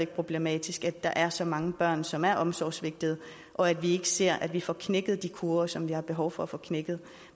problematisk at der er så mange børn som er omsorgssvigtede og at vi ikke ser at vi får knækket de kurver som vi har behov for at få knækket